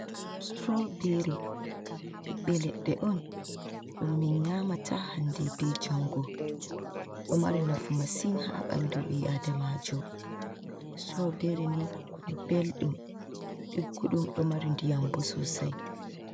Strawbery ɓiɓɓe leɗɗe on ɗum min nyamata hande be jango. Ɗo mari nafu masin haa ɓandu ɓi adamaajo. Strawberi ni belɗum, digguɗum, ɗo mari ndiyam bo sosai.